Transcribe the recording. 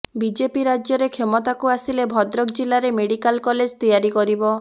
BJP ରାଜ୍ୟରେ କ୍ଷମତାକୁ ଆସିଲେ ଭଦ୍ରକ ଜିଲାରେ ମେଡିକାଲ କଲେଜ ତିଆରି କରିବ